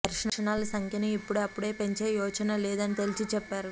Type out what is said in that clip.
దర్శనాల సంఖ్య ము ఇపుడు అపుడే పెంచే యోచన లేదు అని తేల్చి చెప్పారు